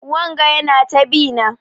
Wanga Yana ta bi na.